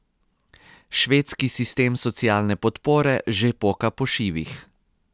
Švedski sistem socialne podpore že poka po šivih.